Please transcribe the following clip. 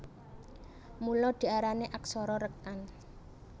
Mula diarani aksara rékan